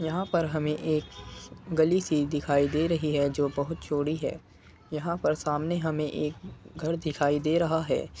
यहाँ पर हमें एक गली सी दिखाई दे रही है जो बहुत चौड़ी है | यहाँ पर सामने हमें एक घर दिखाई दे रहा है ।